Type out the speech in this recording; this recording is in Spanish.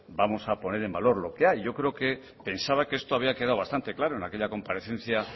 vamos a poner en valor lo que hay yo creo que pensaba que esto había quedado bastante claro en aquella comparecencia